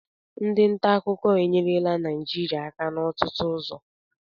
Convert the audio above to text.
Ndị nta akụkọ enyerela Naịjirịa aka n'ọtụtụ ụzọ